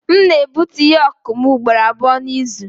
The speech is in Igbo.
M na-egbutu ihe ọkụkụ m ugboro abụọ n'izu.